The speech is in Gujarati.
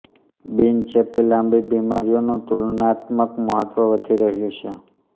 બીન ચેપી લાંબી બીમારીઓનું તુલનાત્મક મહત્વ વધી રહ્યું છે